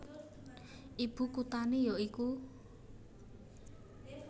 Ibu kuthané ya iku